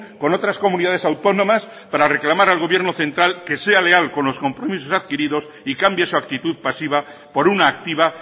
con otras comunidades autónomas para reclamar al gobierno central que sea leal con los compromisos adquiridos y cambie su actitud pasiva por una activa